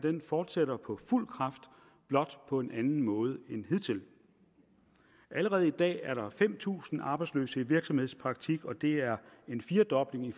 fortsætter på fuld kraft blot på en anden måde end hidtil allerede i dag er der fem tusind arbejdsløse i virksomhedspraktik og det er en firedobling